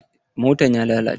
Motan ya lalace.